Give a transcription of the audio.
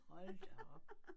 Hold da op